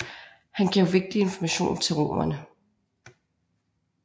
Han gav vigtig information til romerne